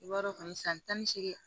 I b'a dɔn kɔni san tan ni seegin